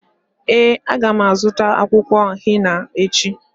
Ee, a ga m azụta akwụkwọ henà echi.